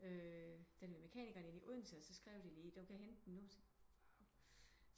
Den er ved mekanikeren inde i Odense og så skrev de lige du kan hente den nu